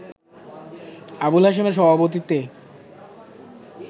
আবুল হাশিমের সভাপতিত্বে